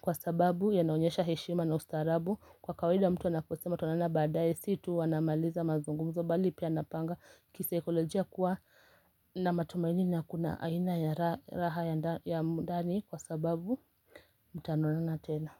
kwa sababu yanaonyesha heshima na ustarabu. Kwa kawaida mtu anaposema tutaonana baadaye si tu anamaliza mazungumzo bali pia anapanga kisaikolojia kuwa na matumaini na kuna aina ya raha ya ndani kwa sababu mtaonana tena.